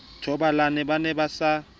thobalane ba ne ba sa